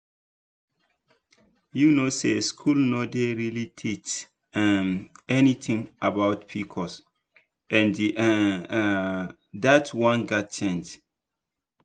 you know say school no dey really teach um anything about pcos and um that one gats change.